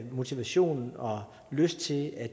motivation og lyst til at